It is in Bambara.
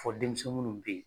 Fɔ denmisɛnnin mun be ye